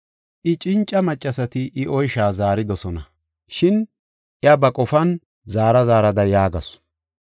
I cinca maccasati I oysha zaaridosona; shin iya ba qofan zaara zaarada yaagasu.